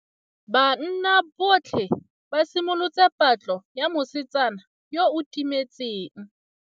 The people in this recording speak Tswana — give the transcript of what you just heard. Banna botlhê ba simolotse patlô ya mosetsana yo o timetseng.